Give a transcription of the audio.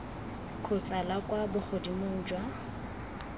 kgotsa la kwa bogodimong jwa